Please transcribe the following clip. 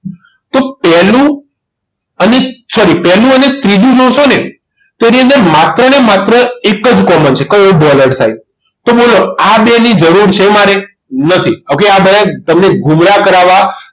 તો પહેલું sorry પહેલું અને ત્રીજું નો જોશો ને તો એની અંદર માત્ર ને માત્ર એક જ common છે કયો બોલ હેડ ખાલી તો આ બંનેની જરૂર છે મારે નથી okay આ બનાવીને તમને ગુમરા કરાવવામાં